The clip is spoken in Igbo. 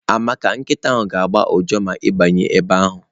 Amara nkịta ga-agbọ ụja ma ị banye ebe ahụ.